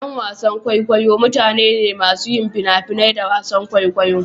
Ƴan wasan kwaikwayo mutane ne masu yin fina-finai da wasan kwaikwayo.